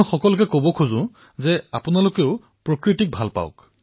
প্ৰধানমন্ত্ৰীঃ কিন্তু তথাপিও মই ভাৰতৰ জনসাধাৰণক আহ্বান জনাম যে যদি আপুনি প্ৰকৃতিক ভাল পায়